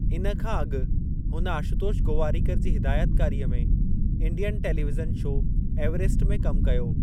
इन खां अॻु हुन आशुतोष गोवारीकर जी हिदायतकारीअ में इंडियन टेलिविज़न शो एवरसट में कमु कयो।